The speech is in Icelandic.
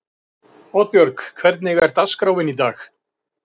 Oddbjörg, hvernig er dagskráin í dag?